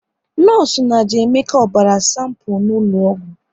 Nọọsụ na jee Emeka ọbara sanpu n'ụlọ ọgwụ